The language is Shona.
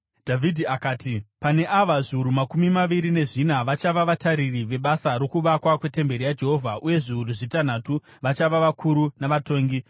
Dhavhidhi akati, “Pane ava, zviuru makumi maviri nezvina vachava vatariri vebasa rokuvakwa kwetemberi yaJehovha uye zviuru zvitanhatu vachava vakuru navatongi.